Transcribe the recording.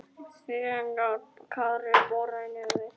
þegar Kári boraði í nefið.